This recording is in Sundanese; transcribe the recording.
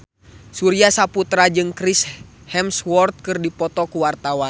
Surya Saputra jeung Chris Hemsworth keur dipoto ku wartawan